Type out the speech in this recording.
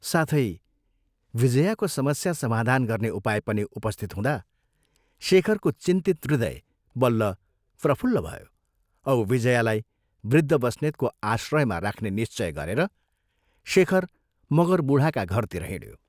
साथै विजयाको समस्या समाधान गर्ने उपाय पनि उपस्थित हुँदा शेखरको चिन्तित हृदय बल्ल प्रफुल्ल भयो औ विजयालाई वृद्ध बस्नेतको आश्रयमा राख्ने निश्चय गरेर शेखर मगर बूढाका घरतिर हिंड्यो।